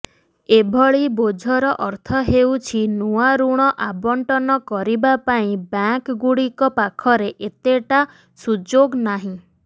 ଏଭଳି ବୋଝର ଅର୍ଥ ହେଉଛି ନୂଆ ଋଣ ଆବଣ୍ଟନ କରିବା ପାଇଁ ବ୍ୟାଙ୍କଗୁଡ଼ିକ ପାଖରେ ଏତେଟା ସୁଯୋଗ ନାହିଁ